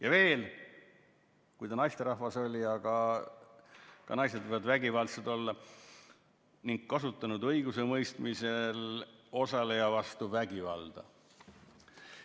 Ja veel, – kui ta naisterahvas oli, aga ka naised võivad vägivaldsed olla – kasutanud õigusemõistmisel osaleja vastu vägivalda.